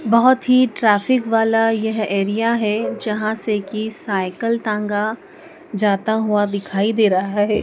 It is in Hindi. बहुत ही ट्रैफिक वाला यह एरिया है जहां से कि साइकिल टांगा जाता हुआ दिखाई दे रहा है।